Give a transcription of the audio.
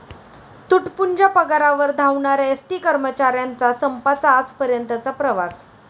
तुटपुंज्या पगारावर 'धावणाऱ्या' एसटी कर्मचाऱ्यांचा संपाचा आजपर्यंतचा प्रवास